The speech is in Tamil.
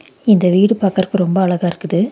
இத வீடு பாக்குறக்கு ரொம்ப அழகா இருக்குது.